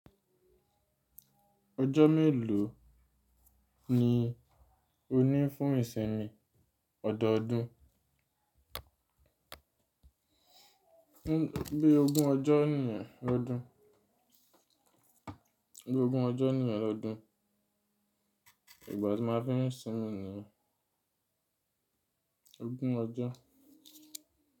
Ọjọ́ mélòó ni o ní fún ìsinmi ọ̀dọ́ọdún? Bí ogún ọjọ́ nìyẹn lọ́dún, bí ogún ọjọ́ nìyẹn lọ́dún, ìgbà tí a máa fi ń sinmi niyen ogún ọjọ́.